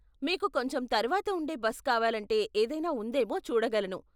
మీకు కొంచెం తర్వాత ఉండే బస్ కావాలంటే ఏదైనా ఉందేమో చూడగలను.